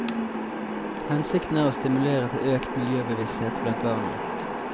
Hensikten er å stimulere til økt miljøbevissthet blant barna.